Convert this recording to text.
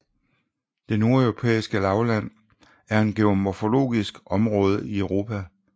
Det Nordeuropæiske Lavland er et geomorfologisk område i Europa